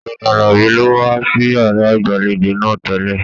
Ọgbẹni Àlàbá lo wà sí yàrá ìgbàlèjo náà tẹlẹ.